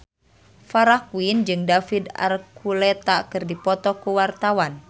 Farah Quinn jeung David Archuletta keur dipoto ku wartawan